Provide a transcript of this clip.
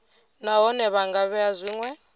nahone vha nga vhea zwinwe